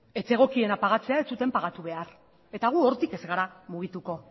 ez zegokiena pagatzea ez zuten pagatu behar eta gu hortik ez gara mugituko